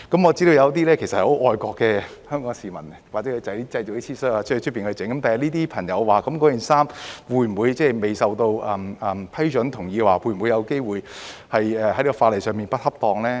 我知道有些很愛國的香港市民會在外面製作一些 T 恤，他日這些朋友的衣服會否因未獲批准和同意而有機會被視為在法例上不恰當呢？